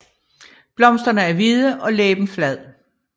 Blomsterne er hvide og læben flad